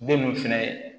Den mun fɛnɛ